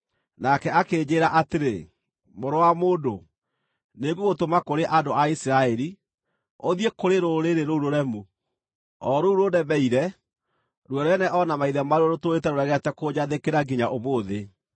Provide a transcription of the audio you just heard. Nake akĩnjĩĩra atĩrĩ, “Mũrũ wa mũndũ, nĩngũgũtũma kũrĩ andũ a Isiraeli, ũthiĩ kũrĩ rũrĩrĩ rũu rũremu, o rũu rũnemeire; ruo rwene o na maithe maaruo rũtũũrĩte rũregete kũnjathĩkĩra nginya ũmũthĩ.